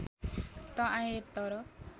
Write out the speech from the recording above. त आएँ तर